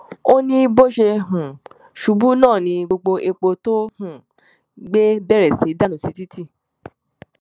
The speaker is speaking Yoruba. ó ní bó ṣe um ṣubú náà ni gbogbo epo tó um gbé bẹrẹ sí í dànù sí títì